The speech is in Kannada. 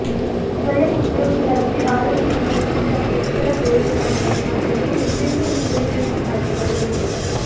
ಸ್ವಯಂ ಉದ್ಯೋಗಿಯಾಗಿ ಆರೋಗ್ಯ ವಿಮೆಯನ್ನು ಮತ್ತು ಇತರ ಪ್ರಯೋಜನಗಳನ್ನು ಪಡೆಯಲು ಹಿಂದೆಂದಿಗಿಂತಲೂ ಹೆಚ್ಚು ಆಯ್ಕೆಗಳಿವೆ